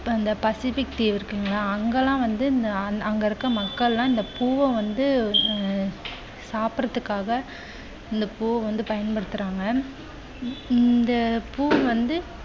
இந்தப் பசிபிக் தீவு இருக்கு இல்லையா அங்கே எல்லாம் வந்து இந்த அங்க்~அங்கே இருக்குற மக்கள் எல்லாரும் இந்த பூவ வந்த அஹ் சாப்பிடுவதற்காக இந்த பூ வந்து பயன்படுத்துறாங்க. இந்த பூ வந்து